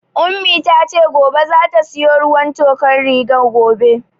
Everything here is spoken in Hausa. Ummi tace gobe zata siyo ruwan tokar rigar gobe